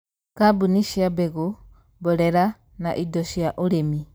Kambuni cia mbegũ, mborera, na indo cia ĩrĩmi